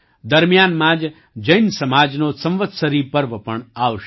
દરમિયાનમાં જ જૈન સમાજનો સંવત્સરી પર્વ પણ આવશે